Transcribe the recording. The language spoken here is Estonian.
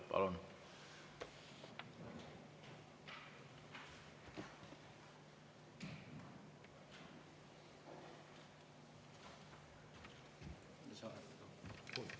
Palun!